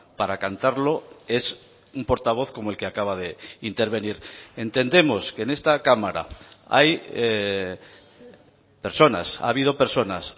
para cantarlo es un portavoz como el que acaba de intervenir entendemos que en esta cámara hay personas ha habido personas